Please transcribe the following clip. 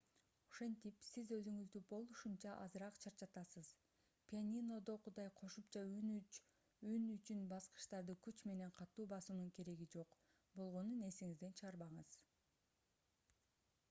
ошентип сиз өзүңүздү болушунча азыраак чарчатасыз пианинодогудай кошумча үн үчүн баскычтарды күч менен катуу басуунун кереги жок болгонун эсиңизден чыгарбаңыз